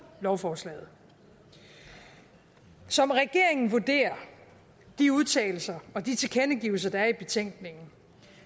lovforslaget som regeringen vurderer de udtalelser og de tilkendegivelser der er i betænkningen